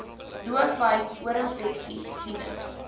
doofheid oorinfeksies sinus